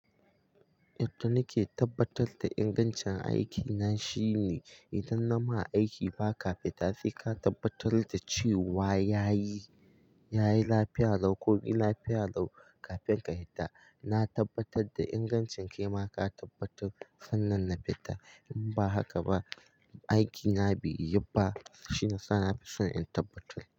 Yadda nake tabbatar da ingancin aikina shine idan na ma aiki ba ka fita sai ka tabbatar da cewa ya yi, ya yi lafiya lau ko ina lafiya lau kafin ka fita. Na tabbatar da ingancin ke ma ka tabbatar sannan na fita. In ba haka ba, aiki na bai yi ba shine sa na fi son in tabbatar.